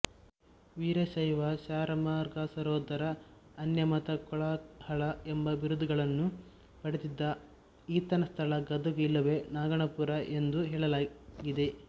ವೀರಶೈವಾಚಾರಮಾರ್ಗಸಾರೋದ್ಧಾರ ಅನ್ಯಮತಕೋಳಾಹಳ ಎಂಬ ಬಿರುದುಗಳನ್ನು ಪಡೆದಿದ್ದ ಈತನ ಸ್ಥಳ ಗದಗು ಇಲ್ಲವೆ ನಾಗಣಾಪುರ ಎಂದು ಹೇಳಲಾಗಿದೆ